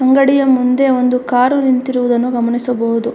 ಅಂಗಡಿಯ ಮುಂದೆ ಒಂದು ಕಾರು ನಿಂತಿರುದನ್ನು ಗಮನಿಸಬಹುದು.